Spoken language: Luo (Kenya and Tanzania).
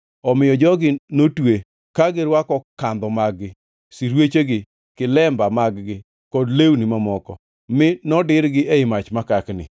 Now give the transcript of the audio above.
Omiyo jogi notwe, ka girwako kandho mag-gi, sirwechegi, kilemba mag-gi kod lewni mamoko, mi nodirgi ei mach makakni.